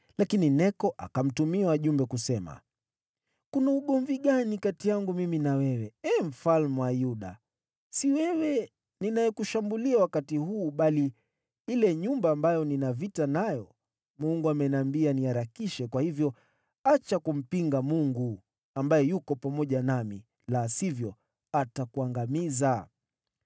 Lakini Neko akamtumia wajumbe kusema, “Kuna ugomvi gani kati yangu mimi na wewe, Ee Mfalme wa Yuda? Si wewe ninayekushambulia wakati huu, bali ile nyumba ambayo nina vita nayo, Mungu ameniambia niharakishe, kwa hivyo acha kumpinga Mungu, ambaye yuko pamoja nami, la sivyo atakuangamiza.”